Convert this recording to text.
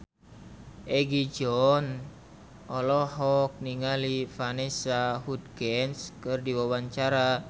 Egi John olohok ningali Vanessa Hudgens keur diwawancara